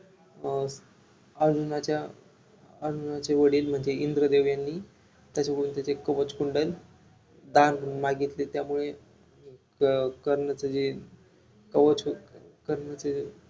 अं अर्जुनाच्या अर्जुनाचे वडील म्हणजे इंद्रदेव यांनी त्याच्याकडून त्याचे कवच कुंडल दान म्हणून मागीतले त्यामुळे अं कर्णच जे कवच कर्ण जे